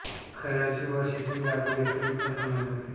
खैराचे वा शिसवी लाकूड यासाठी उत्तम समजले जाते